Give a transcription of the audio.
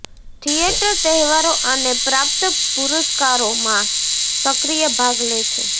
theatre તહેવારો અને પ્રાપ્ત પુરસ્કારો માં સક્રિય ભાગ લે છે